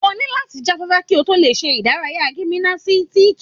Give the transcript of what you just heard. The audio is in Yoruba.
O ní láti jáfáfá kí o tó lè ṣe ìdárayá gìmìnásítíkì.